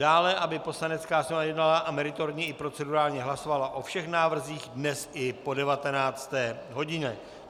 Dále, aby Poslanecká sněmovna jednala a meritorně i procedurálně hlasovala o všech návrzích dnes i po 19. hodině.